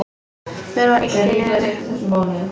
Mér var illt í nefinu.